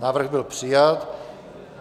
Návrh byl přijat.